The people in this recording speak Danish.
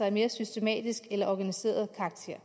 af mere systematisk eller organiseret karakter